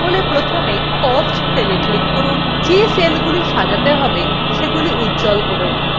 তাহলে প্রথমে cost cellwe click করুন যে সেলগুলো সাজাতে হবে সেগুলি উজ্জ্বল করে so